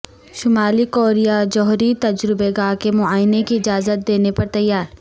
شمالی کوریا جوہری تجربہ گاہ کے معائنے کی اجازت دینے پر تیار